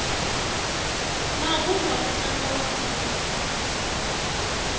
mavulwa ku tlanga vafana